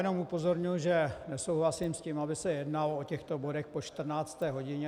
Jenom upozorňuji, že nesouhlasím s tím, aby se jednalo o těchto bodech po 14. hodině.